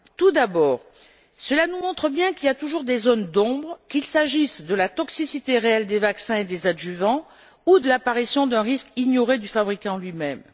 Tout d'abord, cela nous montre bien qu'il y a toujours des zones d'ombre, qu'il s'agisse de la toxicité réelle des vaccins et des adjuvants ou de l'apparition d'un risque ignoré du fabricant lui même.